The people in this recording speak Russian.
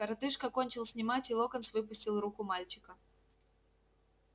коротышка кончил снимать и локонс выпустил руку мальчика